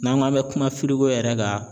N'an k'an mɛ kuma firigo yɛrɛ kan